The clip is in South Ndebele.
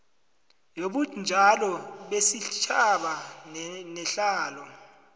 yobunjalo besitjhaba nehlalo